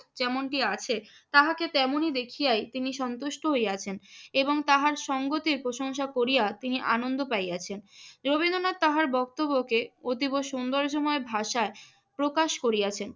যেমনটি আছে তাহাকে তেমনই দেখিয়াই তিনি সন্তুষ্ট হইয়াছেন এবং তাহার সঙ্তের প্রশংসা করিয়া তিনি আনন্দ পাইয়াছেন। রবীন্দ্রনাথ তাহার বক্তব্যকে অতীব সৌন্দর্যময় ভাষায় প্রকাশ করিয়াছেন।